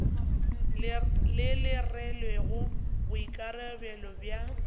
le le rwelego boikarabelo bja